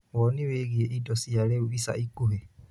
wonĩ wĩigie ĩndo cia rĩu ĩca ĩkũhĩ